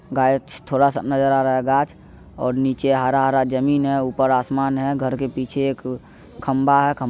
गाछ थोड़ा सा नजर आ रहा है गाछ और नीचे हरा-हरा ज़मीन है ऊपर आसमान है घर के पीछे एक खम्भा है। खं --